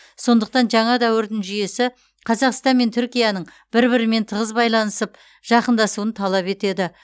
сондықтан жаңа дәуірдің жүйесі қазақстан мен түркияның бір бірімен тығыз байланысып жақындасуын талап етеді